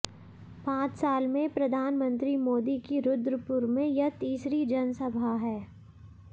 पांच साल में प्रधानमंत्री मोदी की रुद्रपुर में यह तीसरी जनसभा है